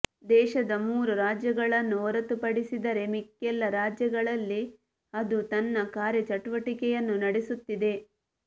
ದೇಶದ ಮೂರು ರಾಜ್ಯಗಳನ್ನು ಹೊರತುಪಡಿಸಿದರೆ ಮಿಕ್ಕೆಲ್ಲಾ ರಾಜ್ಯಗಳಲ್ಲಿ ಅದು ತನ್ನ ಕಾರ್ಯ ಚಟುವಟಿಕೆಯನ್ನು ನಡೆಸು ತ್ತಿದೆ